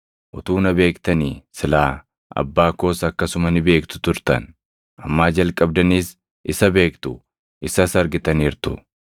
Utuu na beektanii silaa Abbaa koos akkasuma ni beektu turtan; ammaa jalqabdaniis isa beektu; isas argitaniirtu.”